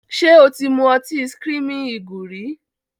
Ṣé o ti mú ọtí "screaming eagle" rí?